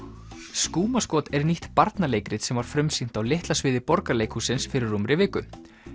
skúmaskot er nýtt barnaleikrit sem var frumsýnt á Litla sviði Borgarleikhússins fyrir rúmri viku